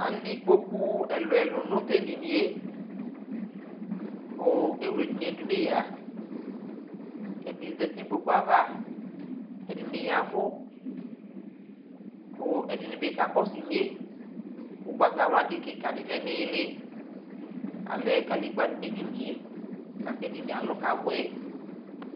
alɛ ikpoku ɛluɛlʊ nʊ tʊ edini yɛ, kʊ ewle edini yɛ dʊ nʊ eyǝ, ɛdɩ zati nʊ ikpoku yɛ ava, ɛdɩnɩ y'ɛvʊ, kʊ ɛdɩnɩ bɩ kakɔsʊ inye, kʊ itsusɔlɔ be dɩ lɛ nʊ iili, alɛ kadegbǝ nɩ nʊ edini yɛ aka kʊ edini yɛ alʊ kabʊɛ